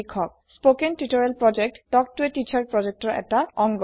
কথন শিক্ষণ প্ৰকল্প তাল্ক ত a টিচাৰ প্ৰকল্পৰ এটা অংগ